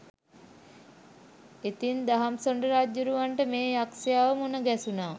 ඉතින් දහම්සොඬ රජ්ජුරුවන්ට මේ යක්ෂයාව මුණගැසුණා